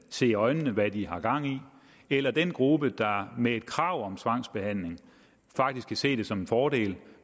se i øjnene hvad de har gang i eller den gruppe der med et krav om tvangsbehandling faktisk kan se det som en fordel